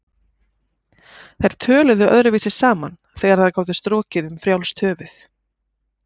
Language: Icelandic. Þær töluðu öðruvísi saman þegar þær gátu strokið um frjálst höfuð.